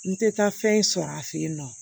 N tɛ taa fɛn sɔrɔ a fɛ yen nɔ